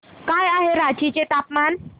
काय आहे रांची चे तापमान